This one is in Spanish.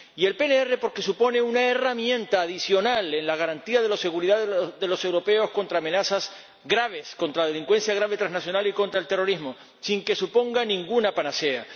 Y el PNR, porque supone una herramienta adicional en la garantía de la seguridad de los europeos contra amenazas graves, contra la delincuencia grave trasnacional y contra el terrorismo, sin que suponga ninguna panacea.